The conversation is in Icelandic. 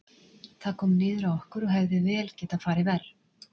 Það kom niður á okkur, og hefði vel getað farið verr.